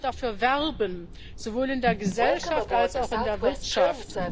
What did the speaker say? Wir müssen auch dafür werben sowohl in der Gesellschaft als auch in der Wirtschaft.